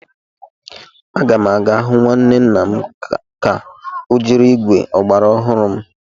Ee, a ga m aga hụ nwanne nna m ka o jiri ígwè ọgbara ọhụrụ m.